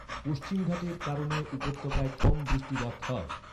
পশ্চিমঘাটের কারণে উপত্যকায় কম বৃষ্টিপাত হয়।